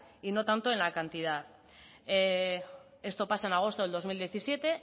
y no tanto en la cantidad esto pasa en agosto del dos mil diecisiete